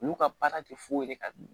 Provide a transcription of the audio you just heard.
Olu ka baara tɛ foyi ye ka